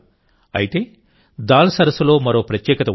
అయితే దాల్ సరస్సులో మరో ప్రత్యేకత ఉంది